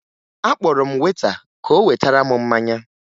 Akpọrọ m weta ka o wetara m mmanya